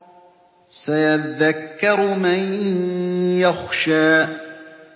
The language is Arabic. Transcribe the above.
سَيَذَّكَّرُ مَن يَخْشَىٰ